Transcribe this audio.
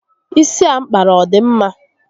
Isi a mpkara ọ dị mma?